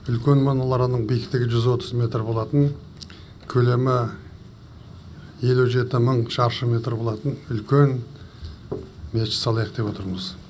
үлкен мұрананың биіктігі жүз отыз метр болатын көлемі елу жеті мың шаршы метр болатын үлкен мешіт салайық деп отырмыз